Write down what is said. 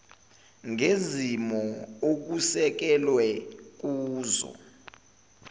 ngezimo okusekelwe kuzo